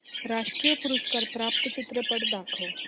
राष्ट्रीय पुरस्कार प्राप्त चित्रपट दाखव